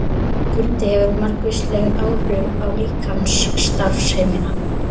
Kuldi hefur margvísleg áhrif á líkamsstarfsemina.